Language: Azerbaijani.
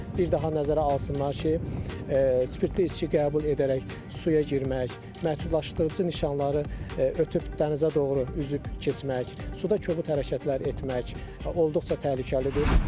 Bir daha nəzərə alsınlar ki, spirtli içki qəbul edərək suya girmək, məhdudlaşdırıcı nişanları ötüb dənizə doğru üzüb keçmək, suda kobud hərəkətlər etmək olduqca təhlükəlidir.